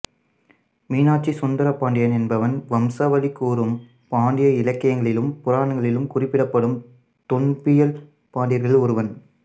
மீனாட்சி சுந்தர பாண்டியன் என்பவன் வம்சாவளி கூறும் பாண்டியர் இலக்கியங்களிலும் புராணங்களிலும் குறிப்பிடப்படும் தொன்பியல் பாண்டியர்களுள் ஒருவன்